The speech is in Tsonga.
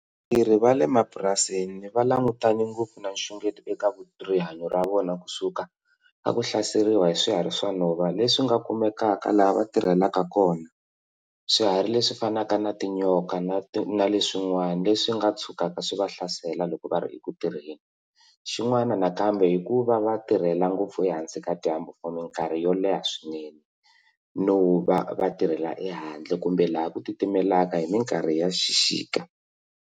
Vatirhi va le mapurasini va langutane ngopfu na nxungeto eka rihanyo ra vona kusuka a ku hlaseriwa hi swihari swa nhova leswi nga kumekaka laha va tirhelaka kona swiharhi leswi fanaka na tinyoka na na le swin'wana le swi nga tshukaka swi va hlasela loko va ri eku tirheni xin'wana nakambe hi ku va va tirhela ngopfu ehansi ka dyambu for mikarhi yo leha swinene no va va tirhela ehandle kumbe laha ku titimelaka hi mikarhi ya xixika.